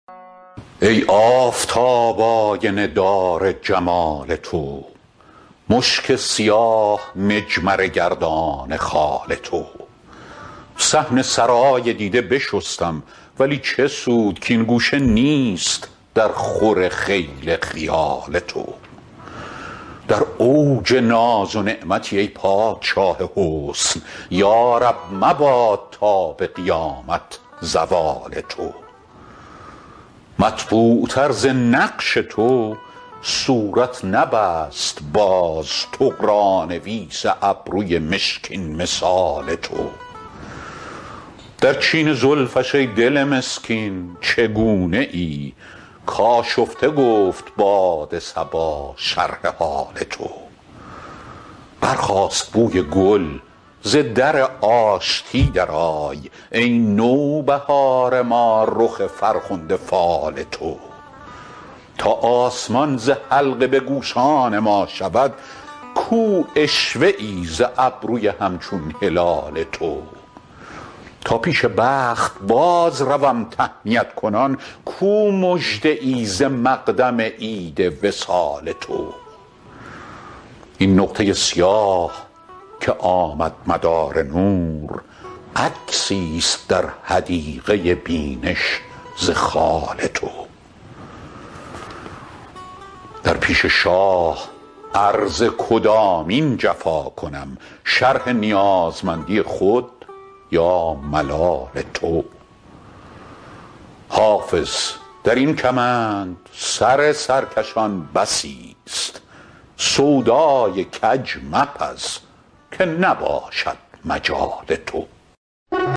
ای آفتاب آینه دار جمال تو مشک سیاه مجمره گردان خال تو صحن سرای دیده بشستم ولی چه سود کـ این گوشه نیست درخور خیل خیال تو در اوج ناز و نعمتی ای پادشاه حسن یا رب مباد تا به قیامت زوال تو مطبوعتر ز نقش تو صورت نبست باز طغرانویس ابروی مشکین مثال تو در چین زلفش ای دل مسکین چگونه ای کآشفته گفت باد صبا شرح حال تو برخاست بوی گل ز در آشتی درآی ای نوبهار ما رخ فرخنده فال تو تا آسمان ز حلقه به گوشان ما شود کو عشوه ای ز ابروی همچون هلال تو تا پیش بخت بازروم تهنیت کنان کو مژده ای ز مقدم عید وصال تو این نقطه سیاه که آمد مدار نور عکسیست در حدیقه بینش ز خال تو در پیش شاه عرض کدامین جفا کنم شرح نیازمندی خود یا ملال تو حافظ در این کمند سر سرکشان بسیست سودای کج مپز که نباشد مجال تو